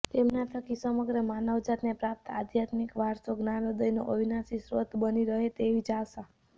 તેમના થકી સમગ્ર માનવજાતને પ્રાપ્ત આધ્યાત્મિક વારસો જ્ઞાનોદયનો અવિનાશી સ્રોત બની રહે તેવી જ આશા